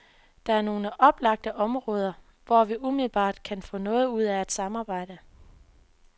Der er nogle oplagte områder, hvor vi umiddelbart kan få noget ud af at samarbejde.